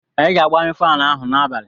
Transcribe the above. Anyị ga-agbanyụ faanụ ahụ n'abalị.